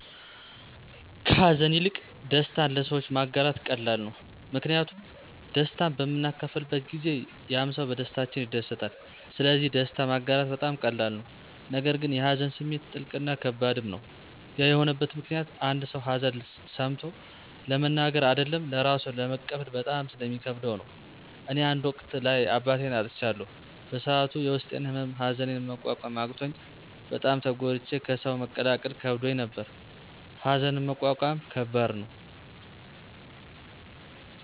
ከሀዘን ይልቅ ደስታን ለሰዎች ማጋራት ቀላል ነው። ምክንያቱም ደስታን በምናካፍልበት ጊዜ ያምሰው በደስታችን ይደሰታል ስለዚህ ደስታ ማጋራት በጣም ቀላል ነው። ነገር ግን የሀዘን ስሜት ጥልቅ እና ከባድም ነው። ያ የሆነበት ምክኒያት አንድ ሰው ሀዘን ሰምቾ ለመናገር አደለም ለራሱም ለመቀበል በጣም ስለሚከብደው ነው። እኔ አንድ ወቅት ላይ አባቴን አጥቻለሁ በሰዐቱ የውስጤን ህመም ሀዘኒን መቆቆም አቅቾኝ በጣም ተጎድቼ ከሰው መቀላቀል ከብዶኝ ነበር። ሀዘንን መቆቆም ከባድ ነው።